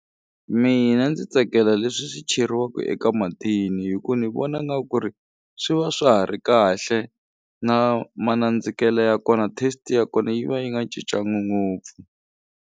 Mina ndzi tsakela leswi swi cheriwaka eka mathini hi ku ni vona nga ku ri swi va swa ha ri kahle na manandzikele ya kona test-i ya kona yi va yi nga cincangi ngopfu.